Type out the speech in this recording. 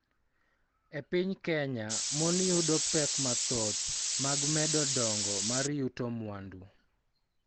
E piny Kenya, mon yudo pek mathoth mag medo dongo mar yuto mwandu,